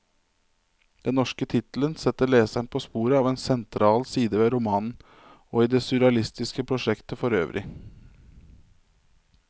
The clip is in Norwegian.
Den norske tittelen setter leseren på sporet av en sentral side ved romanen, og i det surrealistiske prosjektet forøvrig.